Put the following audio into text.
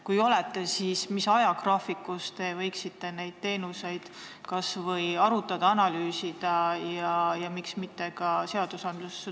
Kui olete, siis mis ajagraafiku järgi te võiksite seda kas või arutada, analüüsida ja miks mitte ka seadustesse tuua?